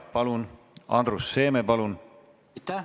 Andrus Seeme palun!